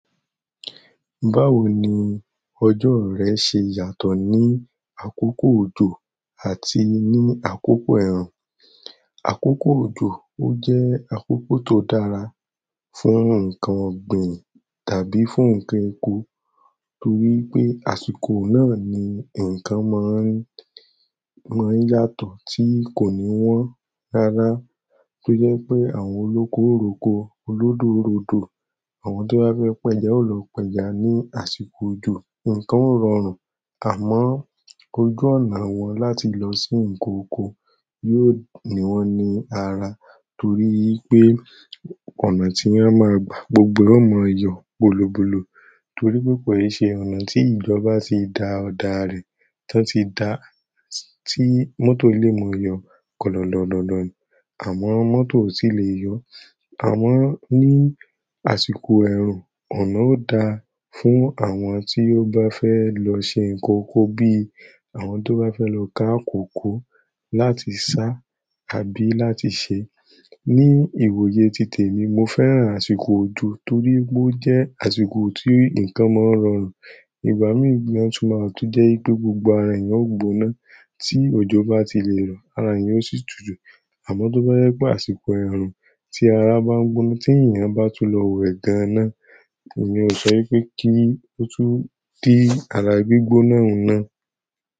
Báwo ni ọjọ́ rẹ ṣe yàtọ̀ ní àkókò òjò àti ní àkókò ẹ̀rùn? Àkókò òjò ó jẹ́ àkókò tó dára fún nǹkan ọ̀gbìn tàbí fún nǹkan oko torí pé àsìkò náà ni nǹkan máa ń, máa ń yàtọ̀ tí kò ní wọ́n rárá. Tó jẹ́ pé àwọn olóko oroko, olódodo ròdò, àwọn tó bá fẹ́ pẹ́ja ó lọ pẹ́ja ní àsìkò òjò. Ǹǹkan o rọrùn àmọ́ ojú ọ̀nà wọn láti lọ sí nǹkan oko yóò ni wọ́n ní ara torí pé ọ̀nà tí wọ́n máa gbà gbogbo wọn máa yọ bolobolo torí púpọ̀ eṣe ọ̀nà tí ìjọba ti da ọ̀dà rẹ̀, tí wọ́n ti dá, tí mọ́tò lè mọ yọ kọ̀lọ̀kọ̀lọ̀. Àmọ́ mọ́tò ò sì lè yọ. Àmọ́ ní àsìkò ẹ̀rùn, ọ̀nà ó da fún àwọn tí ó bá fẹ́ lọ ṣe nǹkan oko bí i àwọn tó bá fẹ́ lọ ká kòko láti sá àbí láti ṣe. Ní ìwòye ti temi mo fẹ́ràn àsìkò òjò torí ó jẹ́ àsìkò tí ǹkan máa ń rọrùn. Ìgbà mìíràn tún máa wa tó jẹ́ pé, gbogbo ara èèyàn ó gbóná tí òjò bá ti lè rọ̀, ara èèyàn ó sì tutù. Àmọ́ tó bá jé pé àsìkò ẹ̀rùn tí ara bá ń gbóná tí èèyàn bá tún lọ wọ ẹ̀dáná, mi ò sọ pé kí ó tó dí àrá gbígbóná huná.